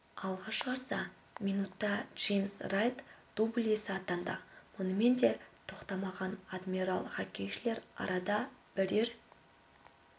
алға шығарса минутта джеймс райт дубль иесі атанды мұнымен де тоқтамаған адмирал хоккейшілері арада бірер